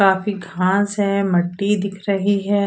काफी घास है मट्टी दिख रही है।